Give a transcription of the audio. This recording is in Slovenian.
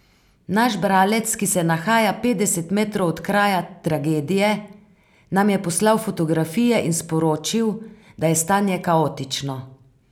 Naš bralec, ki se nahaja petdeset metrov od kraja tragedije, nam je poslal fotografije in sporočil, da je stanje kaotično.